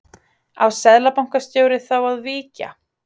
Á seðlabankastjóri þá að víkja?